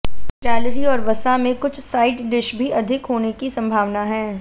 calorie और वसा में कुछ साइड डिश भी अधिक होने की संभावना है